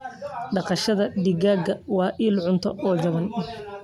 Dhaqashada digaaga waa il cunto oo jaban.